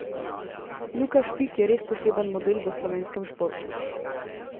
Luka Špik je res poseben model v slovenskem športu.